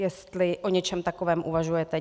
Jestli o něčem takovém uvažujete.